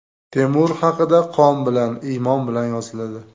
Temur haqida qon bilan, iymon bilan yoziladi.